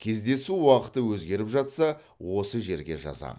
кездесу уақыты өзгеріп жатса осы жерге жазамын